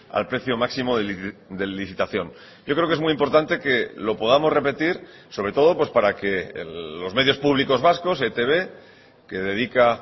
al precio máximo de licitación yo creo que es muy importante que lo podamos repetir sobre todo para que los medios públicos vascos etb que dedica